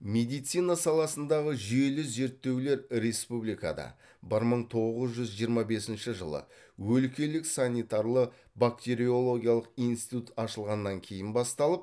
медицина саласындағы жүйелі зерттеулер республикада бір мың тоғыз жүз жиырма бесінші жылы өлкелік санитарлы бактериологиялық институт ашылғаннан кейін басталып